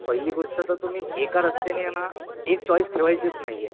पहिली गोष्ट तर तुम्ही एका रस्त्याने आहे ना, एक चॉईस ठेवायचीच नाहीये .